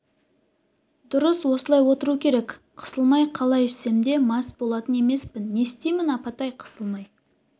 дұрыс осылай отыру керек қысылмай қалай ішсем де мас болатын емеспін не істеймін апатай қысылмай